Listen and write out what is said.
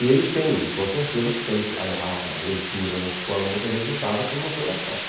E eles têm, com certeza, porque a a a leitura na escola muitas vezes é dada como uma coisa chata.